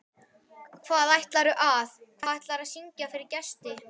Hvað ætlarðu að, hvað ætlarðu að syngja fyrir gesti?